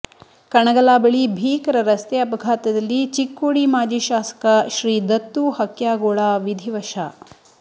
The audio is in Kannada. ಕಣಗಲಾ ಬಳಿ ಭೀಕರ ರಸ್ತೆ ಅಪಘಾತದಲ್ಲಿ ಚಿಕ್ಕೋಡಿ ಮಾಜಿ ಶಾಸಕ ಶ್ರೀ ದತ್ತು ಹಕ್ಯಾಗೋಳ ವಿಧಿವಶ